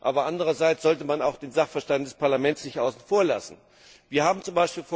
Aber andererseits sollte man auch den Sachverstand des Parlaments nicht außen vor lassen. Wir haben z.